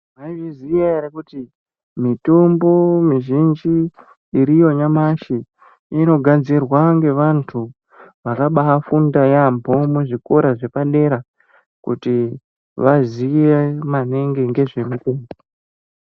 Maizviziya ere kuti mitombo mizhinji iriyo nyamashi inogadzirwa ngevantu vakabafunda yaambo muzvikora zvepadera kuti vaziye maningi ngezve...